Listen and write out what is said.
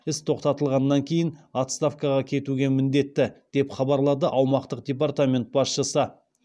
іс тоқтатылғаннан кейін отставкаға кетуге міндетті деп хабарлады аумақтық департамент басшысы